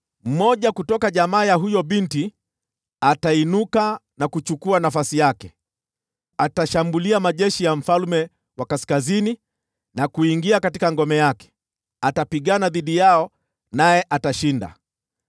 “Mmoja kutoka jamaa ya huyo binti atainuka na kuchukua nafasi yake. Atashambulia majeshi ya mfalme wa Kaskazini na kuingia katika ngome yake; atapigana dhidi yao naye atashinda.